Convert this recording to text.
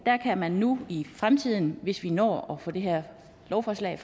kan man nu i fremtiden hvis vi når at få det her lovforslag